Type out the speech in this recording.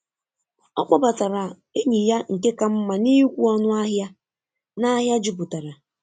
Ọ kpọbatara enyi ya nke ka mma n’ịkwụ ọnụ ahịa n’ahịa jupụtara.